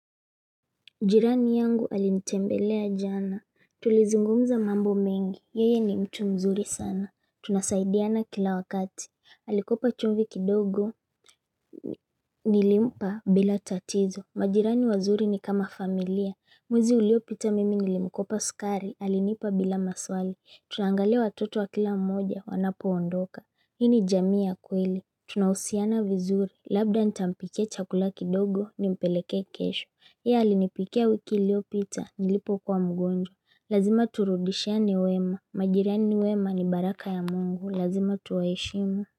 Jirani yangu alinitembelea jana. Tulizungumza mambo mengi. Yeye ni mtu mzuri sana. Tunasaidiana kila wakati. Alikopa chumvi kidogo. Nilimpa bila tatizo. Majirani wazuri ni kama familia. Mwezi uliopita mimi nilimkopa sukari. Alinipa bila maswali. Tunaangalia watoto wa kila mmoja wanapoondoka. Hii ni jamii ya kweli. Tunahusiana vizuri. Labda nitampikia chakula kidogo nimpelekee kesho. Yeye alinipikia wiki iliyopita nilipokuwa mgonjwa. Lazima turudishiane wema, majirani wema ni baraka ya mungu lazima tuwaheshimu.